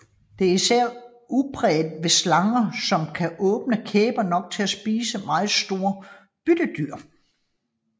Det er især udpræget ved slanger som kan åbne kæberne nok til at spise meget store byttedyr